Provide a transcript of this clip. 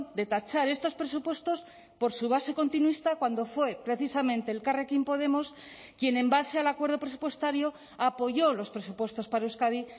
de tachar estos presupuestos por su base continuista cuando fue precisamente elkarrekin podemos quien en base al acuerdo presupuestario apoyó los presupuestos para euskadi